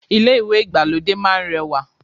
Ilé ìwé ìgbàlódé máá ń rẹwà